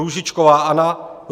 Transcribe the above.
Růžičková Anna